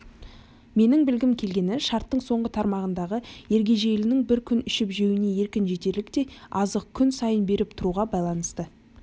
менің білгім келгені шарттың соңғы тармағындағы ергежейлінің бір күн ішіп-жеуіне еркін жетерліктей азықты күн сайын беріп тұруға байланысты